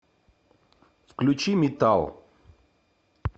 включи метал